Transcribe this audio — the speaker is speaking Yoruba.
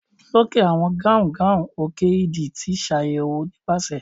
loke awọn gaungaun òke idì ti ṣayẹwo nipasẹ